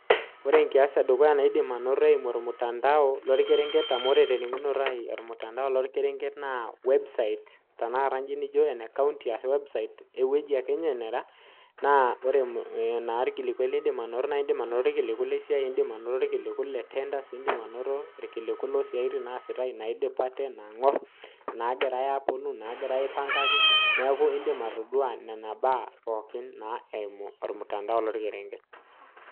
Ore enkias edukuya nidim anoto tormutandao ayimu orkerenket amu ore ormutandao loo orkerenket naa website tanakata naijio ene county ashu website ewueji ake nera naa ore irkiliku lidim anoto naa edim anoto irkiliku lee siai edim anoto irkiliku lee tenders edim anoto irkiliku loo siatin naa sitai naidipate naagirai aipangaki neeku edim atodua Nena mbaa pookin eyimu ormutandao loo orkerenket